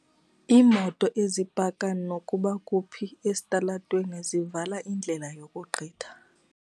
Iimoto ezipaka nokuba kuphi esitalatweni zivala indlela yokugqitha.